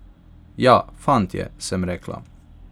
Ja, fant je, sem rekla.